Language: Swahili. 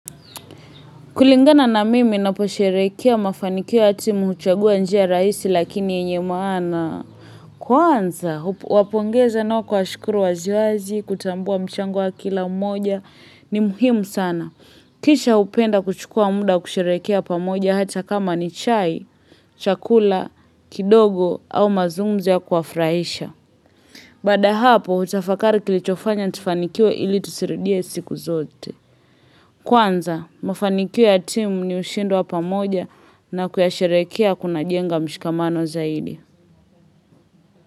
Kulingana na mimi naposherekea mafanikio ya timu huchagua njia rahisi lakini yenye maana. Kwanza, huwapongeza na kuwashukuru wazi wazi kutambua mchango wa kila mmoja ni muhimu sana. Kisha hupenda kuchukua muda kusherekea pamoja hata kama ni chai, chakula kidogo au mazungumzo ya kuwafurahisha. Baada hapo, hutafakari kilichofanya tufanikiwe ili tusirudie siku zote. Kwanza, mafanikio ya timu ni ushindi wa pamoja na kuyasherekea kuna jenga mshikamano zaidi.